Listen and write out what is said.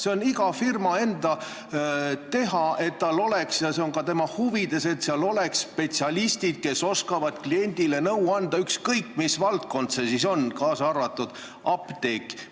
See on iga firma teha ja ka tema enda huvides, et seal oleksid spetsialistid, kes oskavad kliendile nõu anda, ükskõik, mis valdkond see on, kaasa arvatud apteek.